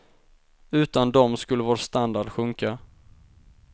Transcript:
Utan dem skulle vår standard sjunka.